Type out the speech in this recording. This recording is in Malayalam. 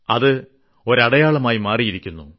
അതിന്റെ അടയാളമായിമാറിയിരിക്കുന്നു